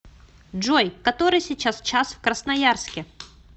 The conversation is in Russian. джой который сейчас час в красноярске